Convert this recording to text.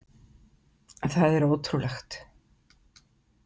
Það er ótrúlegt.